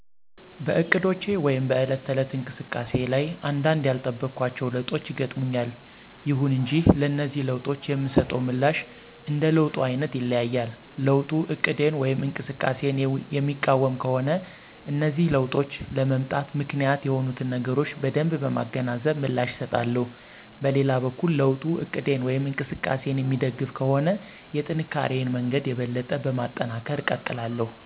በእቅዶቼ ወይም በዕለት ተዕለት እንቅስቃሴ ላይ አንዳንድ ያልጠበኳቸው ለውጦች ይገጥሙኛል። ይሁን እንጂ ለነዚህ ለውጦች የምሰጠው ምላሽ እንደ ለውጡ አይነት ይለያያል። ለውጡ እቅዴን ወይም እንቅስቃሴየን የሚቃወም ከሆነ እነዚህ ለውጦች ለመምጣት ምክንያት የሆኑትን ነገሮች በደንብ በማገናዘብ ምላሽ እሰጣለሁ። በሌላ በኩል ለውጡ እቅዴን ወይም እንቅስቃሴየን የሚደግፍ ከሆነ የጥንካሪየን መንገድ የበለጠ በማጠናከር እቀጥላለሁ።